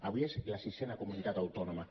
avui és la sisena comunitat autònoma